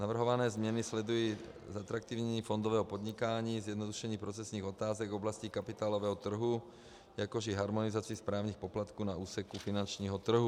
Navrhované změny sledují zatraktivnění fondového podnikání, zjednodušení procesních otázek v oblasti kapitálového trhu, jakož i harmonizaci správních poplatků na úseku finančního trhu.